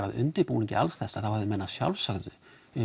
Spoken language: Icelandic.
að undirbúningi þá hefðu menn að sjálfsögðu